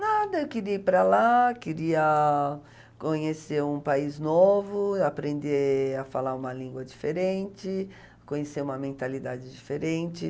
Nada, eu queria ir para lá, queria conhecer um país novo, aprender a falar uma língua diferente, conhecer uma mentalidade diferente.